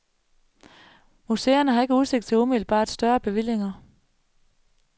Museerne har ikke udsigt til umiddelbart større bevillinger.